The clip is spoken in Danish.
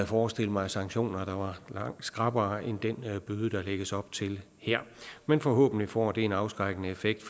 forestille mig sanktioner der var langt skrappere end den bøde der lægges op til her men forhåbentlig får det en afskrækkende effekt